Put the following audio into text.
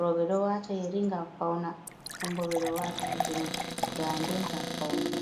roɓe ɗo wata yari ngam fauna, nonbo beɗon wata kuje dannde ngam faunugo.